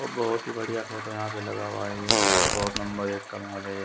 और बहोत ही बढ़िया फोटो यहा पे लगा हुआ है और बहोत नंबर एक का माल है यह